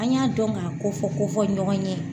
An y'a dɔn ka kofɔ kofɔ ɲɔgɔn ye.